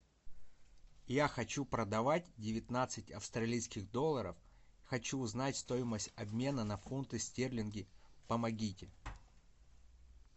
я хочу продавать девятнадцать австралийских долларов хочу узнать стоимость обмена на фунты стерлингов помогите